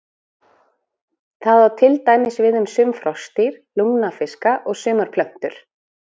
Það á til dæmis við um sum froskdýr, lungnafiska og sumar plöntur.